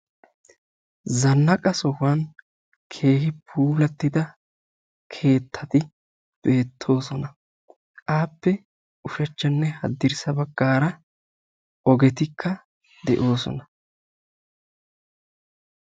Zannaqa sohuwaan keehippe puulattida keettati de'oosona. appe ushshachchanne haddirssa baggaara ogeti de'oosona.